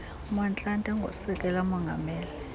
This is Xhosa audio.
motlanthe ngusekela mongameli